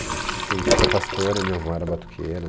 Tem um tio que é pastor e a minha avó era batuqueira. E